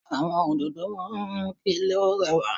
Àwọn òdòdó máa ń mú kí ilé ó rẹwà